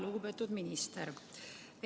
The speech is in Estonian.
Lugupeetud minister!